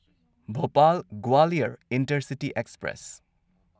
Bhopal Gwalior intercity express